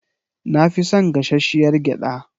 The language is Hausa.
Na fi son gashashshiyar gyada.